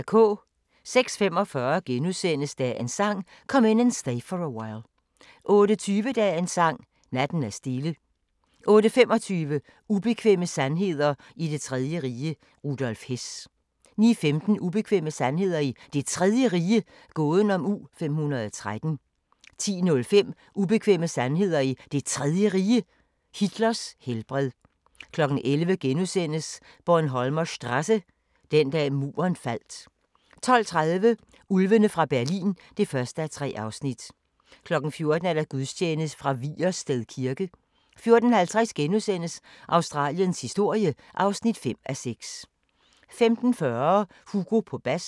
06:45: Dagens Sang: Come In And Stay For A While * 08:20: Dagens Sang: Natten er stille 08:25: Ubekvemme sandheder i det tredje rige - Rudolf Hess 09:15: Ubekvemme sandheder i Det Tredje Rige – gåden om U-513 10:05: Ubekvemme sandheder i Det Tredje Rige – Hitlers helbred 11:00: Bornholmer Strasse – Den dag Muren faldt * 12:30: Ulvene fra Berlin (1:3) 14:00: Gudstjeneste fra Vigersted Kirke 14:50: Australiens historie (5:6)* 15:40: Hugo på bas